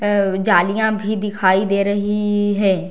और जालियाँ भी दिखाई दे रही है।